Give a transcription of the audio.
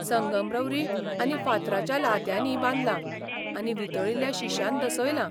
संगमरवरी आनी फातराच्या लादयांनी बांदलां आनी वितळिल्ल्या शिश्यान दसयलां.